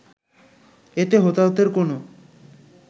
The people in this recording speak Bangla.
এতে হতাহতের কোনো